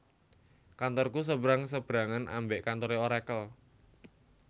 Kantorku sebrang sebrangan ambek kantore Oracle